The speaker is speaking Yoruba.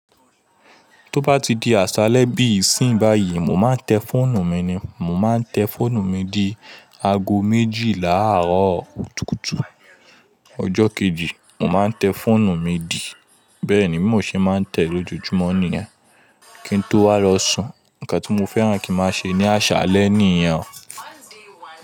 Tó bá ti di àṣálẹ́ bí ìsin báyìí, mo máa ń tẹ fọ́ọ̀nù mi ni. Mo máa ń tẹ fọ́ọ̀nù mi di aago méjì láàárọ̀ kùtùkùtù. Ọjọ́ kejì, mo máa ń tẹ fọ́ọ̀nù mi di. Bẹ́ẹ̀ ni bí mọ ṣe máa ń tẹ lójoojúmọ́ nìyẹn kí n tó wá lọ sùn. Ǹkan tí mo fẹ́ran kí n máa ṣe ní àṣálẹ́ nìyẹn o.